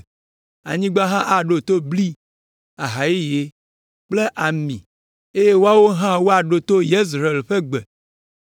anyigba hã aɖo to bli, aha yeye kple ami, eye woawo hã woaɖo to Yezreel ƒe gbe.